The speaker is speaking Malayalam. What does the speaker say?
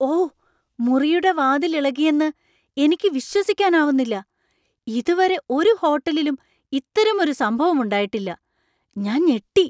ഓ, മുറിയുടെ വാതിൽ ഇളകിയെന്ന് എനിക്ക് വിശ്വസിക്കാനാവുന്നില്ല! ഇതുവരെ ഒരു ഹോട്ടലിലും ഇത്തരമൊരു സംഭവം ഉണ്ടായിട്ടില്ല. ഞാൻ ഞെട്ടി!